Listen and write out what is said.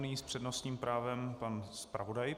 Nyní s přednostním právem pan zpravodaj.